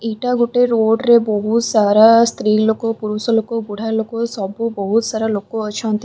ଏଇଟା ଗୋଟେ ରୋଡ଼ରେ ବହୁତ ସାରା ସ୍ତ୍ରୀଲୋକ ପୁରୁଷଲୋକ ବୁଢ଼ାଲୋକ ସବୁ ବହୁତ ସାରା ଲୋକ ଅଛନ୍ତି।